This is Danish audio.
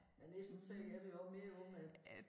Men det sådan set er det jo også mere også med